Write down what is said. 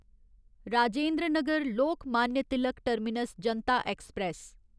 Rajendra Nagar Lokmanya Tilak terminus Janata express